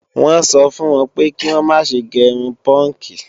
Wọ́n sọ fún wọn pé kí wọ́n má ṣe gé irun púùnkì